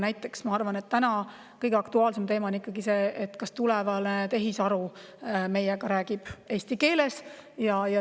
Näiteks, ma arvan, et täna kõige aktuaalsem teema on ikkagi see, kas tulevane tehisaru räägib meiega eesti keeles.